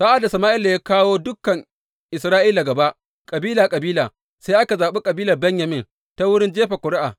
Sa’ad da Sama’ila ya kawo dukan Isra’ila gaba, kabila kabila, sai aka zaɓi kabilar Benyamin ta wurin jefa ƙuri’a.